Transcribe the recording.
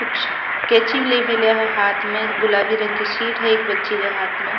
कुछ केची ले मलया है हाथ में गुलाबी रंग की शीट है एक बच्ची के हाथ में।